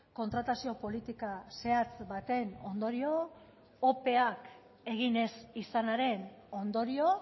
kontratazio politika zehatz baten ondorio ope egin ez izanaren ondorio